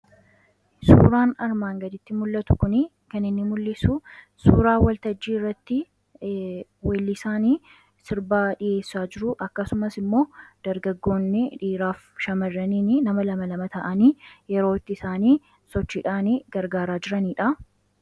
Suuraan armaan gaditti mul'atu kun, kan inni mul'isu suuraa waltajjii irratti weellisaa sirba dhiheessaa jiruu akkasumas immoo dargaggoonni dhiiraa fi shamaarraniin nama lama lama ta'anii yeroo itti isaan sochiidhaan gargaaraa jiranidha.